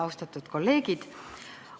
Austatud kolleegid!